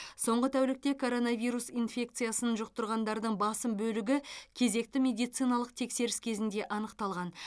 соңғы тәулікте коронавирус инфекциясын жұқтырғандардың басым бөлігі кезекті медициналық тексеріс кезінде анықталған